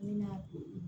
Ne na